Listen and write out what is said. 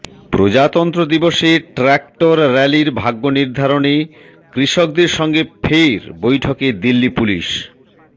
প্রজাতন্ত্র দিবসে ট্রাক্টর র্যালির ভাগ্য নির্ধারণে কৃষকদের সঙ্গে ফের বৈঠকে দিল্লি পুলিস